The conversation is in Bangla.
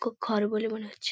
কুক ঘর বলে মনে হচ্ছে ।